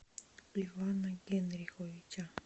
ивана генриховича